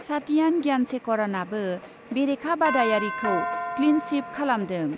सातियान ज्ञानशेखरनाबो बेरेखा बादायारिखौ क्लीनस्वीप खालामदों।